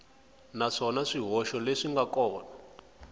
naswona swihoxo leswi nga kona